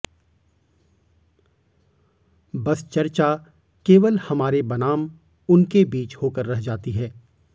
बस चर्चा केवल हमारे बनाम उनके बीच होकर रह जाती है